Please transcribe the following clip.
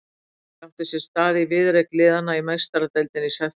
Atvikið átti sér stað í viðureign liðanna í Meistaradeildinni í september.